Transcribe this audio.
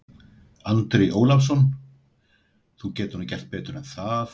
Andri Ólafsson: Þú getur nú gert betur en það?